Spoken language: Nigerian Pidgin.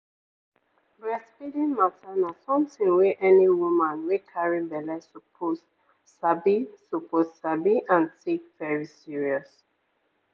breastfeeding mata na something wey any woman wey carry belle suppose sabi suppose sabi and take very serious.